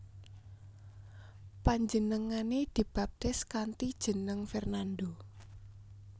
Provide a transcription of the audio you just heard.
Panjenengané dibaptis kanthi jeneng Fernando